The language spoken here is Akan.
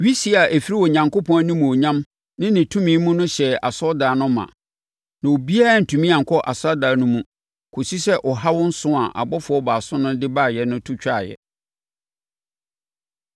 Wisie a ɛfiri Onyankopɔn animuonyam ne ne tumi mu no hyɛɛ asɔredan no ma. Na obiara antumi ankɔ asɔredan no mu kɔsii sɛ ɔhaw nson a abɔfoɔ baason no de baeɛ no to twaeɛ.